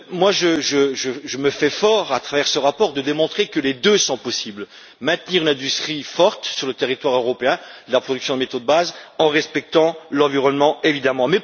Je me fais fort, à travers ce rapport, de démontrer que les deux sont possibles maintenir l'industrie forte sur le territoire européen, la production de métaux de base, tout en respectant l'environnement, évidemment.